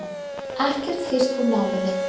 Ekkert heyrst úr námunni